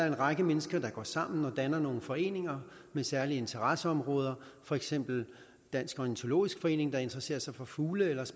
en række mennesker der går sammen og danner nogle foreninger med særlige interesseområder for eksempel dansk ornitologisk forening der interesserer sig for fugle eller